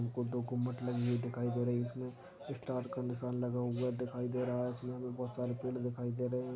दू गो गुम्बद लगी हुई दिखाई दे रही है इसमें स्टार का निशान लगा हुआ दिखाई दे रहा है इसमें हमें बहुत सारे पेड़ दिखाई दे रहै हैं।